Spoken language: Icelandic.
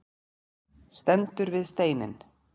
Stendur við steininn.